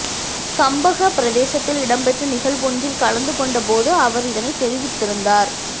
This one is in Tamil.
கம்பஹா பிரதேசத்தில இடம்பெற்ற நிகழ்வொன்றில் கலந்து கொண்ட போது அவர் இதனை தெரிவித்திருந்தார்